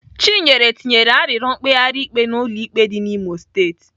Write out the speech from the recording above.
Chinyere tinyere arịrịọ mkpegharị ikpe n'ụlọ ikpe dị n'Imo steeti.